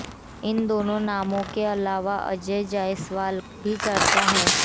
इन दोनों नामों के अलावा अजय जायसवाल भी चर्चा हैं